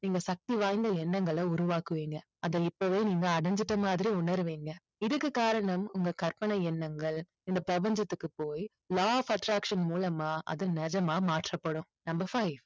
நீங்க சக்தி வாய்ந்த எண்ணங்களை உருவாக்குவீங்க. அதை இப்பவே நீங்க அடைஞ்சிட்ட மாதிரி உணர்வீங்க. இதுக்கு காரணம் உங்க கற்பனை எண்ணங்கள் இந்த பிரபஞ்சத்துக்கு போய் law of attraction மூலமா அது நிஜமா மாற்றப்படும். number five